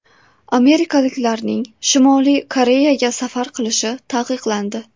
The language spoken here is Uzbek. Amerikaliklarning Shimoliy Koreyaga safar qilishi taqiqlandi.